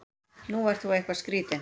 Þú ert nú eitthvað skrýtinn!